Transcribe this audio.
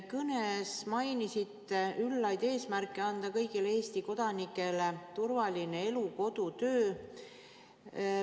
Kõnes te mainisite üllaid eesmärke anda kõigile Eesti kodanikele turvaline elu, kodu, töö.